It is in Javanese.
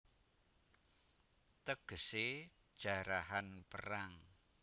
Tegesé Jarahan Perang